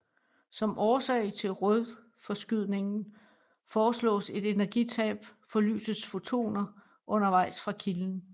Som årsag til rødforskydningen foreslås et energitab for lysets fotoner undervejs fra kilden